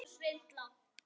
æpir Svenni.